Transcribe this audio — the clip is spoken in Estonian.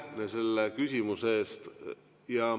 Aitäh selle küsimuse eest!